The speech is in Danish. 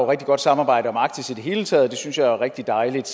rigtig godt samarbejde om arktis i det hele taget og det synes jeg er rigtig dejligt